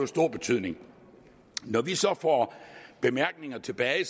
stor betydning når vi så får bemærkninger tilbage